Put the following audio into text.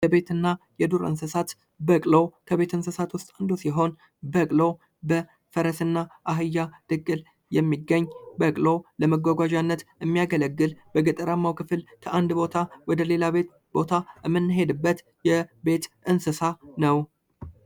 የቤት እና የዱር እንስሳት ፦ በቅሎ ፦ ከቤት እንስሳት ውስጥ አንዱ ሲሆን በቅሎ በፈረስ እና አህያ ድቅል የሚገኝ በቅሎ ለመጓጓዣነት የሚያገለግል በገጠራማው ክፍል ከአንድ ቦታ ወደ ሌላ ቦታ የምንሄድበት የቤት እንስሳ ነው ።